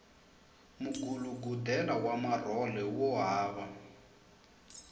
mugulugudela wa marhole wo hava